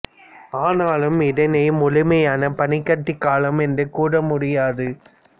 ஆனாலும் இதனை முழுமையான பனிக்கட்டிக் காலம் என்று கூற முடியாது